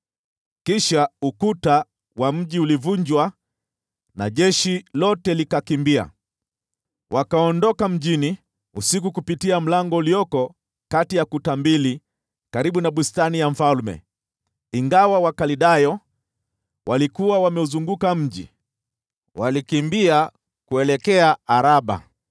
Kisha ukuta wa mji ukavunjwa na jeshi lote likakimbia. Wakaondoka mjini usiku kupitia lango lililokuwa kati ya kuta mbili karibu na bustani ya mfalme, ingawa Wakaldayo walikuwa wameuzunguka mji. Wakakimbia kuelekea Araba.